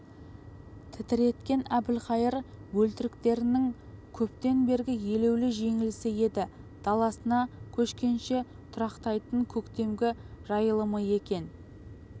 тітіреткен әбілқайыр бөлтіріктерінің көптен бергі елеулі жеңілісі еді даласына көшкенше тұрақтайтын көктемгі жайылымы екен